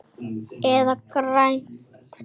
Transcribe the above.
Eða grænt.